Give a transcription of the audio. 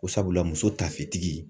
Ko sabula muso tafetigi